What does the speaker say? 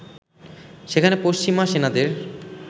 সেখানে পশ্চিমা সেনাদের